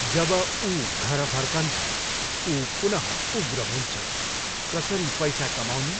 जब ऊ घर फर्कन्छ, ऊ पुनः उग्र हुन्छ। कसरी पैसा कमाउने?